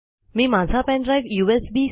मी माझा pen drive USB